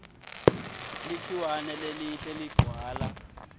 likhiwane lelihle ligcwala